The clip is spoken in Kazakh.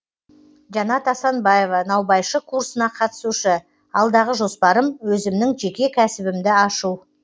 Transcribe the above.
жанат асанбаева наубайшы курсына қатысушы алдағы жоспарым өзімнің жеке кәсібімді ашу